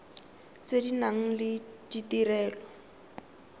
tse di nang le ditirelo